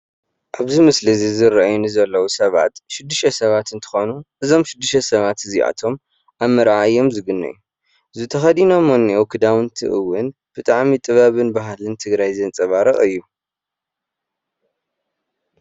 እዚ ምስሊ ዝራኣየኒ ዘሎዉ ሰባት ሽድሽተ ሰባት እንትኮኑ እዞም ሽድሽተ ሰባት እዛኣቶም ኣብ ምረኣይ እዮም ዝግነዩ እዚ ተኸዲኖሞ ዘሎዉ ክዳውንትይ ብጣዕሚ ጥበብን ባህልን ትግራይ ዘንፃባርቅ እዩ።